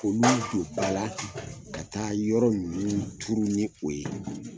K'olu don ba la ka taa yɔrɔ ninnu tuuru ni o ye.